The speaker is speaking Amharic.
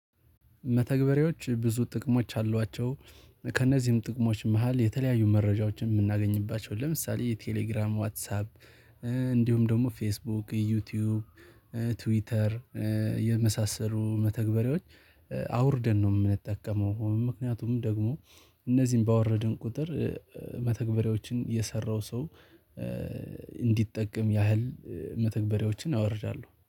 መተግበርያዎች ብዙ ጥቅሞች አሏቸው። ከእነዚህም ጥቅሞች መሃል የተለያዩ መረጃዎችን የምናገኝባቸው ለምሳሌ የቴሌግራም ዋትሳፕ እንዲሁም ደግሞ ፌስቡክ ዩቲዩብ ትዊተር የመሳሰሉ መተግበሪያዎች አውርደን ነው የምንጠቀመው ምክንያቱም ደግሞ እነዚህን ባወረድን ቁጥር መተግበሪያዎችን የሰራው ሰው እንዲጠቀም ያህል መተግበሪያዎችን አወርዳለሁ